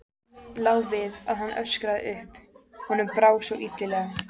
Lá við að hann öskraði upp, honum brá svo illilega.